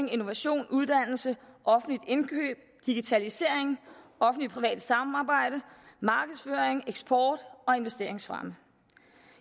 innovation uddannelse offentligt indkøb digitalisering offentligt privat samarbejde markedsføring eksport og investeringsfremme